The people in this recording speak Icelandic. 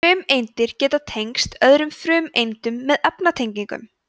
frumeindir geta tengst öðrum frumeindum með efnatengjum